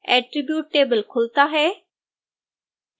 attribute table खुलता है